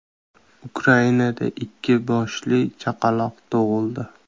Ukrainada ikki boshli chaqaloq tug‘ildi.